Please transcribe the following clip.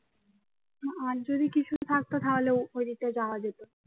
আর যদি কিছু থাকতো তাহলে দিকটায় জায়া যেত